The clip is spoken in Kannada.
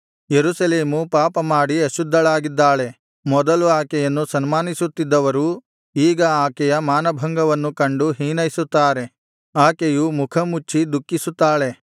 ಯೆರೂಸಲೇಮು ಪಾಪಮಾಡಿ ಅಶುದ್ಧಳಾಗಿದ್ದಾಳೆ ಮೊದಲು ಆಕೆಯನ್ನು ಸನ್ಮಾನಿಸುತ್ತಿದ್ದವರು ಈಗ ಆಕೆಯ ಮಾನಭಂಗವನ್ನು ಕಂಡು ಹೀನೈಸುತ್ತಾರೆ ಆಕೆಯು ಮುಖಮುಚ್ಚಿ ದುಃಖಿಸುತ್ತಾಳೆ